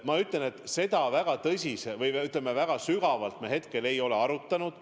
Ma ütlen, et seda me väga tõsiselt või väga sügavalt hetkel ei ole arutanud.